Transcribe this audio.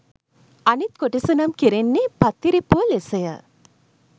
අනිත් කොටස නම් කෙරෙන්නේ පත්තිරිප්පුව ලෙස ය.